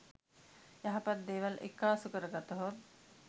යහපත් දේවල් එක්කාසු කරගතහොත්